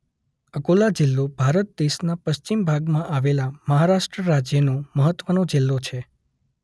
અકોલા જિલ્લો ભારત દેશના પશ્ચિમ ભાગમાં આવેલા મહારાષ્ટ્ર રાજ્યનો મહત્વનો જિલ્લો છે.